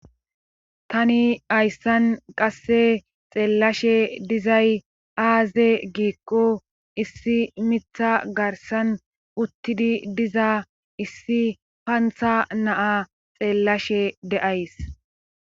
Tani hayssan qasse xeellashe dizay aaze giikqo issi mitha garsan uttidi diza issi pantha naa xeellashe deays.